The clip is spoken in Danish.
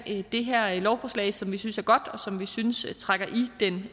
det her lovforslag som vi synes er godt og som vi synes trækker